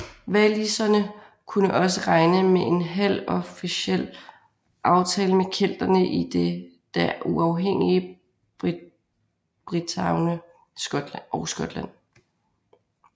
Waliserne kunne også regne med en halvofficiel aftale med kelterne i det da uafhængige Bretagne og Skotland